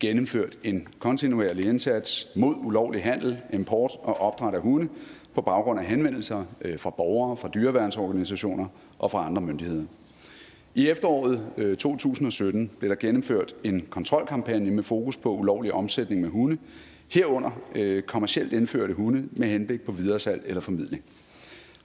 gennemført en kontinuerlig indsats mod ulovlig handel import og opdræt af hunde på baggrund af henvendelser fra borgere fra dyreværnsorganisationer og fra andre myndigheder i efteråret to tusind og sytten blev der gennemført en kontrolkampagne med fokus på ulovlig omsætning af hunde herunder kommercielt indførte hunde med henblik på videresalg eller formidling